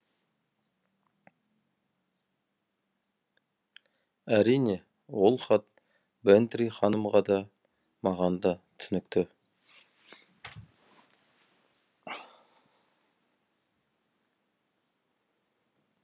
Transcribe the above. әрине ол хат бэнтри ханымға да маған да түсінікті